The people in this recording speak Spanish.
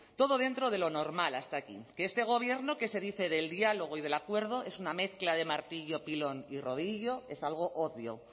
todo dentro de lo normal hasta aquí que este gobierno que se dice del diálogo y del acuerdo es una mezcla de martillo pilón y rodillo es algo obvio